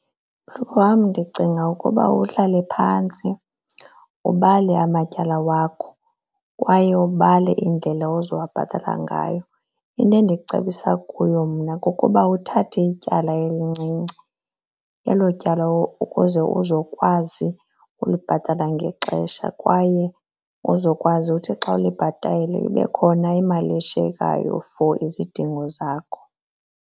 Mhlobo wam, ndicinga ukuba uhlale phantsi ubale amatyala wakho. Kwaye ubale indlela ozawubhatala ngayo. Into endicebisa kuyo mna kukuba uthathe ityala elincinci elo tyala ukuze uzokwazi ulibhatala ngexesha, kwaye uzokwazi uthi xa ulibhatala kube khona imali eshiyekayo for izidingo zakho.